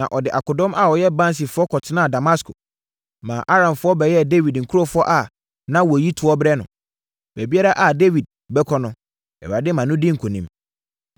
Na ɔde akodɔm a wɔyɛ bansifoɔ kɔtenaa Damasko, ma Aramfoɔ bɛyɛɛ Dawid nkurɔfoɔ a na wɔyi toɔ brɛ no. Baabiara a Dawid bɛkɔ no, Awurade ma no di nkonim.